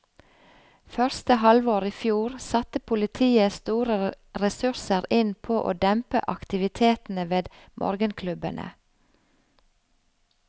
Første halvår i fjor satte politiet store ressurser inn på å dempe aktivitetene ved morgenklubbene.